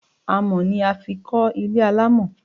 Àmọ́ ni a fi kò ilé alamọ